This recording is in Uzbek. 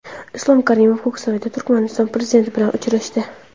Islom Karimov Ko‘ksaroyda Turkmaniston prezidenti bilan uchrashdi.